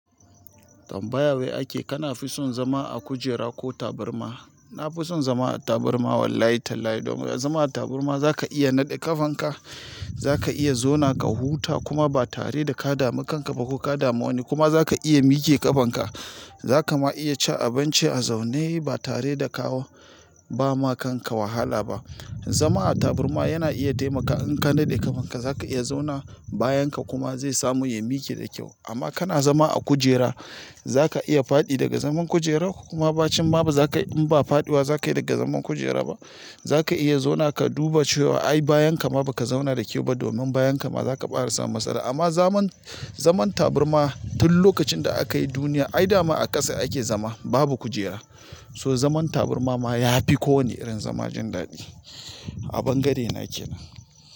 Tambaya wai ake, kana fi son zama a kujera ko taburma? Na fi son zama a taburma wallahi tallahi. Domin zama a taburma za ka iya naɗe ƙafanka, za ka iya zauna ka huta kuma ba tare da ka dami kanka ba ko ka damu wani kuma za ka iya mike ƙafanka. Za ka ma iya ci abinci a zaune ba tare da kawo ba ma kanka wahala ba. Zama a taburma yana iya taimaka in ka naɗe ƙafanka za ka iya zauna bayan ka kuma zai samu ya mike da kyau. Amma kana zama a kujera, za ka iya faɗi daga zaman kujera kuma ba cim ma ba za ka in ba faɗiwa za ka yi daga zaman kujera ba. Za ka iya zauna ka duba cewa ai bayan ka ma ba ka zauna da kyau ba domin bayan ka ma za ka ɓare samu matsala. Amma zama zaman taburma tin lokaci da akayi duniya ai damon a kasa ake zama babu kujira. So zaman taburma ma ya fi kowane irin zama jin daɗi. A bangare na ke nan.